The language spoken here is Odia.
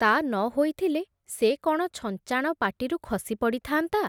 ତା ନ ହୋଇଥିଲେ ସେ କ’ଣ ଛଞ୍ଚାଣ ପାଟିରୁ ଖସିପଡ଼ିଥାନ୍ତା ।